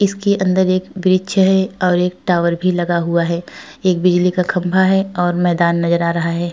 इसके अंदर एक वृक्ष है और एक टावर भी लगा हुआ है। एक बिजली का खम्बा है और मैदान नजर आ रहा है।